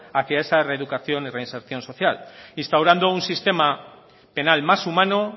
a que esa reeducación y reinserción social instaurando un sistema penal más humano